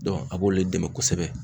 a b'olu de dɛmɛ kosɛbɛ.